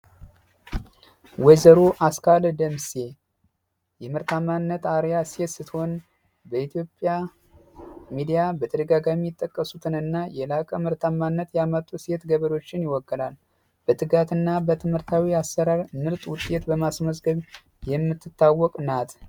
ወይዘሮ አስካለ ደምሴ የምርታማነት አሪያ ሴት ስትሆን በኢትዮጵያ ሚዲያ በተደጋጋሚ የተጠቀሱትን እና የላቀ ምርታማነት ያመጡ ሴት ገበሬዎችን ይወክላል። በትጋት እና በትምህርታዊ አሠራር ምርጥ ውጤት በማስመዝገብ የምትታወቅ ናት።